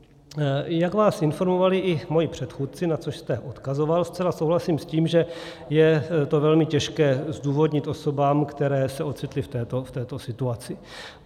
Jak vás informovali i moji předchůdci, na což jste odkazoval, zcela souhlasím s tím, že je to velmi těžké zdůvodnit osobám, které se ocitly v této situaci.